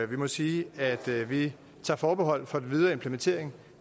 må sige at vi tager forbehold for den videre implementering